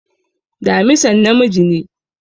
Damisan namiji ne